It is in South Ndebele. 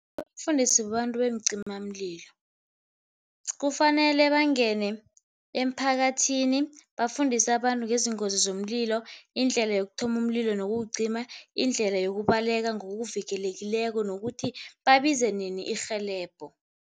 Kufanele bafundiswe babantu beencimamlilo. Kufanele bangene emphakathini bafundise abantu ngezingozi zomlilo, indlela yokuthoma umlilo nokuwucima, indlela yokubaleka ngokuvikelekileko nokuthi babize nini irhelebho.